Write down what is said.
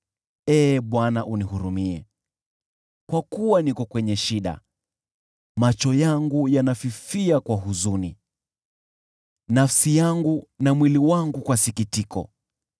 Ee Bwana unihurumie, kwa kuwa niko kwenye shida; macho yangu yanafifia kwa huzuni, nafsi yangu na mwili wangu kwa sikitiko.